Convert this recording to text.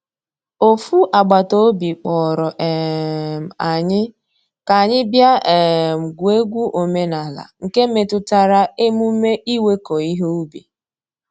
Ofu agbata obi kpọrọ um anyị ka anyị bịa um gwuo egwu omenala nke metụtara emume iweko ihe ubi.